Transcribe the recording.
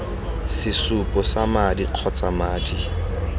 sesupo sa madi kgotsa madi